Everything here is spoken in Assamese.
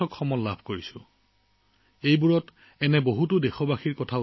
মই বহুতো ইনপুট পাইছো যিবোৰ এটা আনটোৰ পৰিপূৰক ইতিবাচক কথা